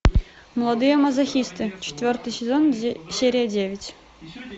молодые мазохисты четвертый сезон серия девять